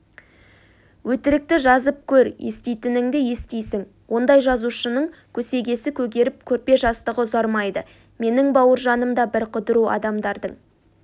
өтірікті жазып көр еститініңді естисің ондай жазушының көсегесі көгеріп көрпе-жастығы ұзармайды менің бауыржаным да бір қыдыру адамдардың